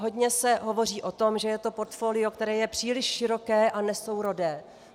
Hodně se hovoří o tom, že je to portfolio, které je příliš široké a nesourodé.